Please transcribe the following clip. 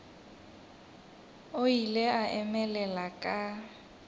o ile a emelela ka